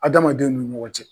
Adamadenw nun ɲɔgɔn cɛ.